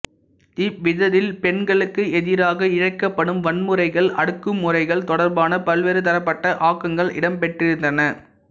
இவ்விதழில் பெண்களுக்கெதிராக இழைக்கப்படும் வன்முறைகள் அடக்குமுறைகள் தொடர்பான பல்வேறுதரப்பட்ட ஆக்கங்கள் இடம்பெற்றிருந்தன